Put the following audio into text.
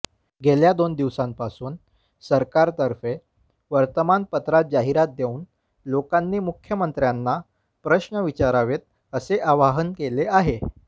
गेल्या दोन दिवसांपासून सरकारतर्फे वर्तमानपत्रात जाहिरात देऊन लोकांनी मुख्यमंत्र्यांना प्रश्न विचारावेत असे आवाहन केले आहे